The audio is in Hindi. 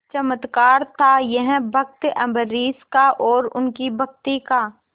चमत्कार था यह भक्त अम्बरीश का और उनकी भक्ति का